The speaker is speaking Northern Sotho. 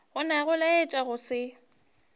gona go laetša go se